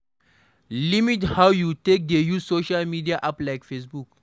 Limit how you take dey use social media app like facebook